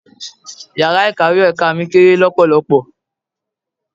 Ìyàrá Ikàwé ti ẹ̀ka mi kéré lọpọlọpọ.